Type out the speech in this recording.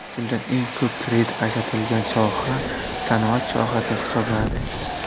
Shundan eng ko‘p kredit ajratilgan soha sanoat sohasi hisoblanadi.